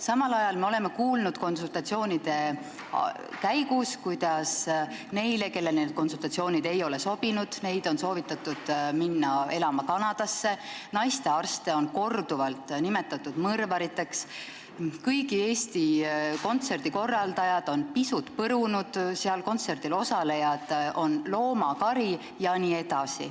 Samal ajal me oleme kuulnud, et neil, kellele need konsultatsioonid ei ole sobinud, on soovitatud minna elama Kanadasse, naistearste on korduvalt nimetatud mõrvariteks, "Kõigi Eesti laulu" kontserdi korraldajad on pisut põrunud, kontserdil osalenud on loomakari jne.